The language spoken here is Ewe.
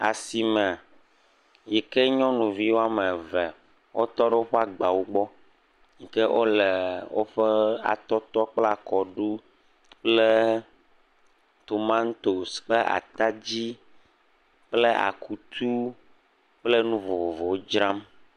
Asime yike nyɔnuvi woame eve wotɔ ɖo le woƒe agbawo gbɔ, yike wo le atɔtɔ kple akɔɖu, tomatosi kple ataɛi kple akutu kple nu vovovowo dzram.